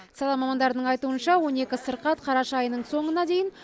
сала мамандарының айтуынша он екі сырқат қараша айының соңына дейін